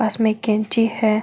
पास में एक कैंची है।